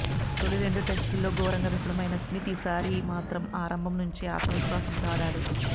తొలి రెండు టెస్టుల్లో ఘోరంగా విఫలమైన స్మిత్ ఈసారి మాత్రం ఆరంభం నుంచే ఆత్మవిశ్వాసంతో ఆడాడు